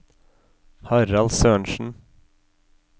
Harald Sørensen